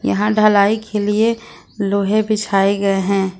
यहां ढलाई के लिए लोहे बिछाए गए हैं।